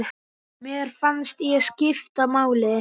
Mér fannst ég skipta máli.